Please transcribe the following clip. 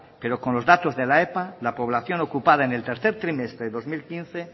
pero con los datos de la epa la población ocupada en el tercer trimestre de dos mil quince